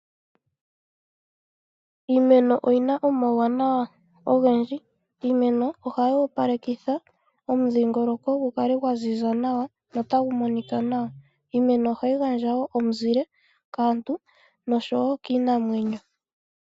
Iimeno oyina omawuwanawa ogendji, iimeno ohayi opalekitha omudhingoloko gukale gwa ziza nawa notagu monika nawa, iimeno ohayi gandja omuzile kaantu nokiinamwenyo.